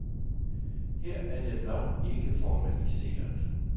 Her er det blot ikke formaliseret.